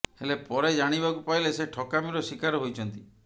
ହେଲେ ପରେ ଜାଣିବାକୁ ପାଇଲେ ସେ ଠକାମୀର ଶିକାର ହୋଇଛନ୍ତି